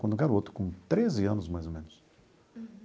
Quando garoto, com treze anos mais ou menos.